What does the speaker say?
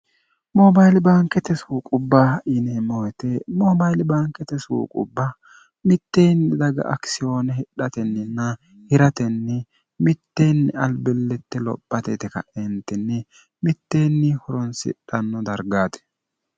moobayili bankete suu qubba yineemmohite moobaili baankete suu qubba mitteenni daga akisiyooni hidhatenninna hiratenni mitteenni albillitte lophatete ka'eentinni mitteenni huronsidhanno dargaate